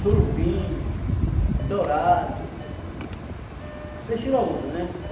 Surubim, dourado, peixe graúdo, né?